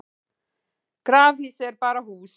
grafhýsi er bara hús